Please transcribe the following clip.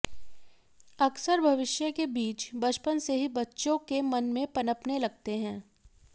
अक्सर भविष्य के बीज बचपन से ही बच्चों के मन में पनपने लगते हैं